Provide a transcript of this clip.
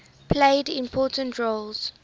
played important roles